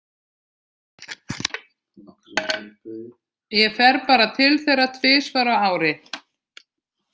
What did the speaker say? Ég fer bara til þeirra tvisvar á ári.